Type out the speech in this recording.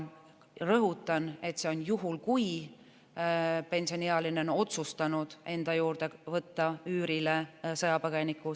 Rõhutan, et see on juhul, kui pensioniealine on otsustanud enda juurde võtta üürile sõjapõgeniku.